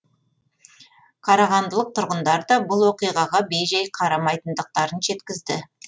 қарағандылық тұрғындар да бұл оқиғаға бей жай қарамайтындықтарын жеткізді